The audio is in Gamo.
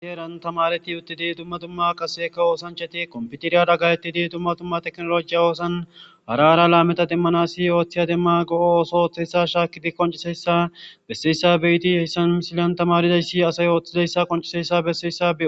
Heeran asay dumma dumma ooso oothanas kompitere go'etizayssa be'os.